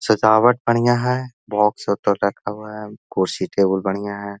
सजावट बढ़ियाँ है बॉक्स उधर रखा हुआ है कुर्सी टेबुल बढ़ियाँ है।